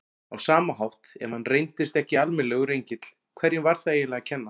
Á sama hátt, ef hann reyndist ekki almennilegur engill, hverjum var það eiginlega að kenna?